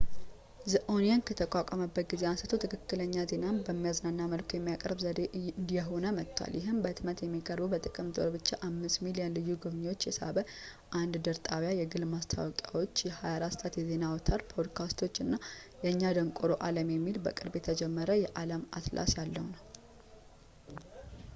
the onion ከተቋቋመበት ጊዜ አንስቶ ፣ ትክክለኛ ዜናን በሚያዝናና መልኩ የሚያቀርብ ዘዴ እየሆነ መጥቷል ፣ ይህም በሕትመት የሚቀርብ፣ በጥቅምት ወር 5,000,000 ልዩ ጎብኚዎችን የሳበ አንድ ድር ጣቢያ ፣ የግል ማስታወቂያዎች ፣ የ 24 ሰዓት የዜና አውታር ፣ ፖድካስቶች እና የእኛ ደንቆሮ ዓለም የሚባለው በቅርቡ የተጀመረው የዓለም አትላስ ያለው ነው